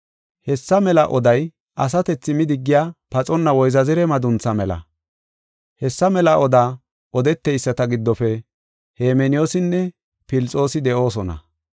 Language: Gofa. Hessa mela oday asatethi midigiya paxonna woyzazire maduntha mela. Hessa mela odaa odeteyisata giddofe Hemeneyoosinne Filixoosi de7oosona.